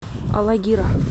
алагира